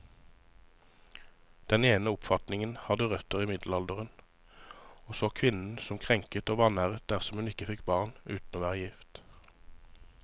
Den ene oppfatningen hadde røtter i middelalderen, og så kvinnen som krenket og vanæret dersom hun fikk barn uten å være gift.